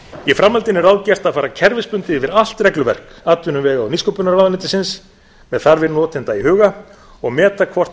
í framhaldinu er ráðgert að fara kerfisbundið yfir allt regluverk atvinnuvega og nýsköpunarráðuneytisins með þarfir notenda í huga og meta hvort þær